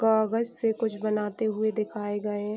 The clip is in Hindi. कागज से कुछ बनाते हुए दिखाए गए --